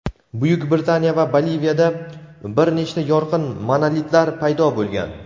Buyuk Britaniya va Boliviyada bir nechta yorqin monolitlar paydo bo‘lgan.